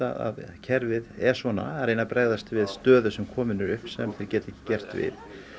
kerfið er svona að reyna að bregðast við stöðu sem komin er upp sem þau geta ekki gert við